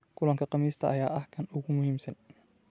Kulanka Khamiista ayaa ah kan ugu muhiimsan.”